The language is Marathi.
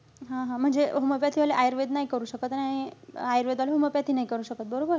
हा-हा. म्हणजे homeopathy वाले आयुर्वेद नाही करू शकत आणि आयुर्वेद वाले homeopathy नाही करू शकत, बरोबर?